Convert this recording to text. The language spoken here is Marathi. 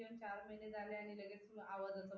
किंवा चार महिने झाले आणि लगेच आवाजाच